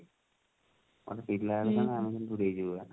କଣ ଗୋଟେ ଥିଲା ବେଳେ ସେମାନେ ଆଣିକି ପୁରେଇଦେବେ ବା